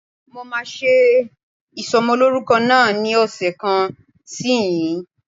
Mo máa ṣe ìsọmọlórúkọ náà ní ọ̀sẹ̀ kan sí ìsínyìí.